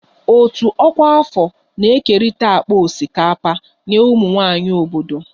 Òtù ọkwa afọ na-ekerịta akpa osikapa nye ụmụ nwanyị obodo